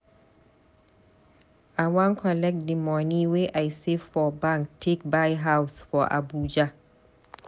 I wan collect di moni wey I save for bank take buy house for Abuja.